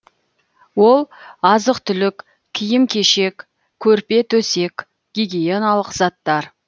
ол азық түлік киім кешек көрпе төсек гигиеналық заттар